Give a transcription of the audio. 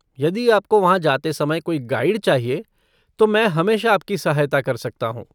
यदि आपको वहाँ जाते समय कोई गाइड चाहिए, तो मैं हमेशा आपकी सहायता कर सकता हूँ।